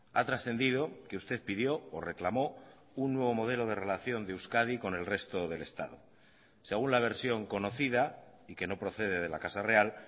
ha trascendido que usted pidió o reclamó un nuevo modelo de relación de euskadi con el resto del estado según la versión conocida y que no procede de la casa real